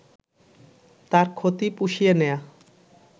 তার ক্ষতি পুষিয়ে নেয়া